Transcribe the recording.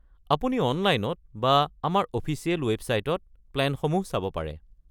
আপুনি অনলাইনত বা আমাৰ অফিচিয়েল ৱেবচাইটত প্লে'নসমূহ চাব পাৰে।